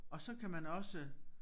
Og så kan man også